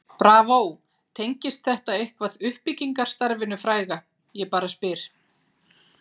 BRAVÓ, tengist þetta eitthvað uppbyggingarstarfinu fræga ég bara spyr?